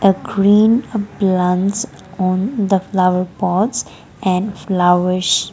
a green a plants on the flower pots and flowers.